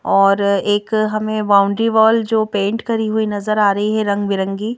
और एक हमें बाउंड्री वॉल जो पेंट करी हुई नजर आ रही है रंगबिरंगी--